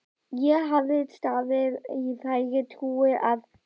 Ég hafði staðið í þeirri trú að